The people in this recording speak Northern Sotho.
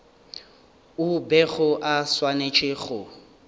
o bego o swanetše go